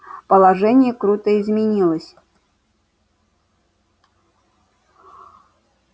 положение круто изменилось